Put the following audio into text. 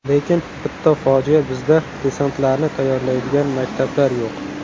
Lekin bitta fojia bizda desantlarni tayyorlaydigan maktablar yo‘q.